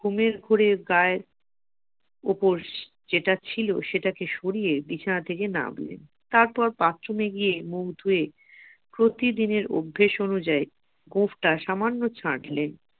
ঘুমের ঘোরে গায়ের উপর যেটা ছিল সেটাকে সরিয়ে তিনি বিছানা থেকে নামলেন তারপর বাথরুমে গিয়ে মুগ ধুয়ে প্রতিদিনের অভ্যাস অনুযায়ী গোঁফটা সামান্য ছাঁটলেন